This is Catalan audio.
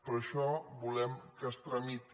per això volem que es tramiti